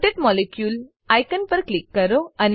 rotate molecule icon પર click કરો